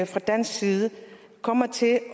fra dansk side kommer til at